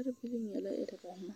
parebilii nyɛ ɛre baŋ ma